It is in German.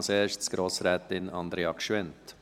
Als Erste, Grossrätin Andrea Gschwend.